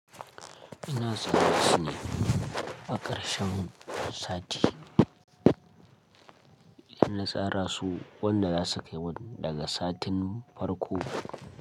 Ina tsara su ne a ƙarshen sati. Inna tsara su wanda za su kai wani daga satin farko.